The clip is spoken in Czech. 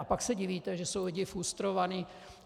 A pak se divíte, že jsou lidé frustrovaní.